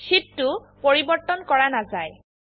শীটটো পৰিবৰ্তন কৰা নাযায়160